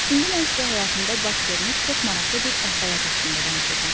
İndi mən sizə həyatımda baş vermiş çox maraqlı bir əhvalat haqqında danışacağam.